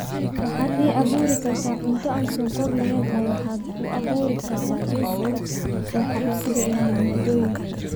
waxaad ii abuuri kartaa cunto aan sonkor lahayn oo waxaad u abuuri kartaa liiska wax iibsiga ee maaddooyinka